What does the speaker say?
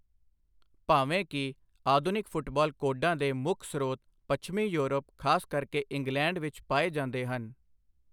ਭਾਵੇਂ ਕਿ, ਆਧੁਨਿਕ ਫੁੱਟਬਾਲ ਕੋਡਾਂ ਦੇ ਮੁੱਖ ਸਰੋਤ ਪੱਛਮੀ ਯੂਰਪ, ਖ਼ਾਸ ਕਰਕੇ ਇੰਗਲੈਂਡ ਵਿੱਚ ਪਾਏ ਜਾਂਦੇ ਹਨ।